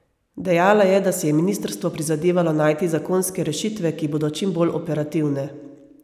Dejala je, da si je ministrstvo prizadevalo najti zakonske rešitve, ki bodo čim bolj operativne.